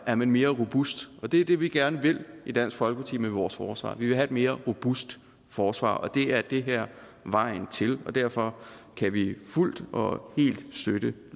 er man mere robust det er det vi gerne vil i dansk folkeparti med vores forsvar vi vil have et mere robust forsvar og det er det her vejen til derfor kan vi fuldt og helt støtte